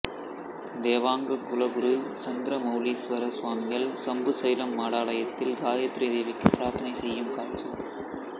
தேவாங்க குல குரு சந்திரமவுலீஸ்வர ஸ்வாமிகள் சம்புசைலம் மடாலயத்தில் காயத்ரி தேவிக்கு பிரார்த்தனை செய்யும் காட்சி